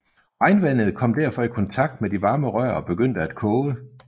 Regnvandet kom derfor i kontakt med de varme rør og begyndte at koge